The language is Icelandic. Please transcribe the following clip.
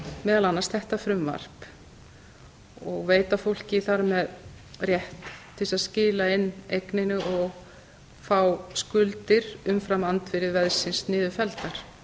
meðal annars þetta frumvarp og veita fólki þar með rétt til þess að skila inn eigninni og fá skuldir umfram andvirði veðsins niðurfelldar